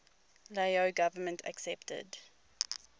lao government accepted